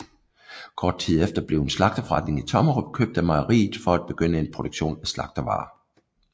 Kort tid efter blev en slagterforretning i Tommerup købt af mejeriet for at begynde en produktion af slagtervarer